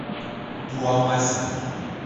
туамасина